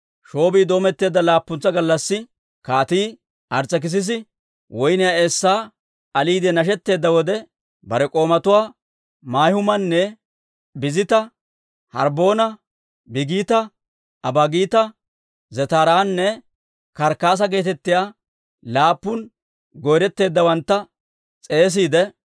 Shoobii doometteedda laappuntsa gallassi, Kaatii Ars's'ekissisi woyniyaa eessaa aliide nashetteedda wode, bare k'oomatuwaa Mahumaana, Biztta, Harbboona, Biigita, Abaagita, Zetaaranne Karkkaasa geetettiyaa laappun goyreteeddawantta s'eesiide,